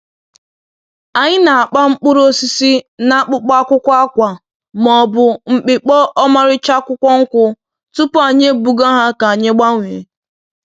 Anyị na-akpa mkpụrụ osisi n'akpụkpọ akwụkwọ, akwa, ma ọ bụ mpịkpọ ọmarịcha akwụkwọ nkwụ tupu anyị ebuga ha ka anyị gbanwee.